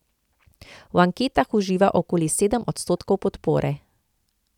V anketah uživa okoli sedem odstotkov podpore.